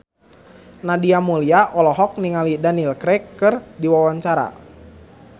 Nadia Mulya olohok ningali Daniel Craig keur diwawancara